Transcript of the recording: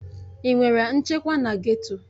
Ị nwere nchekwa na geto?